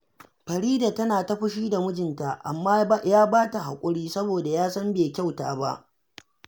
Farida tana fushi da mijinta, amma ya ba ta haƙuri, saboda ya san bai kyauta ba